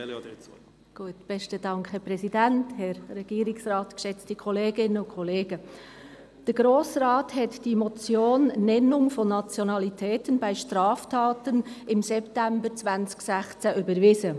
Der Grosse Rat hat die Motion betreffend Nennung von Nationalitäten bei Straftaten im September 2016 überwiesen.